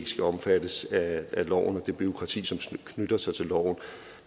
skal omfattes af loven og det bureaukrati som knytter sig til loven